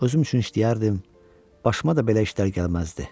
Özüm üçün işləyərdim, başıma da belə işlər gəlməzdi.